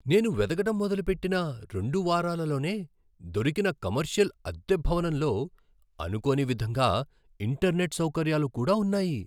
నేను వెతకడం మొదలుపెట్టిన రెండు వారాలలోనే దొరికిన కమర్షియల్ అద్దె భవనంలో అనుకోని విధంగా ఇంటర్నెట్, సౌకర్యాలు కూడా ఉన్నాయి.